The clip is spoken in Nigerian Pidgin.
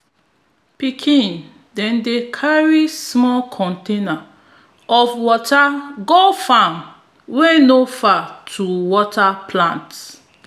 pikin dem dey carry small container of water go farm wey no far to water plants